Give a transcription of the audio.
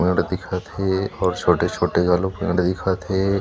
मेढ़ दिखत हे अउ छोटे-छोटे घलुक दिखत हे।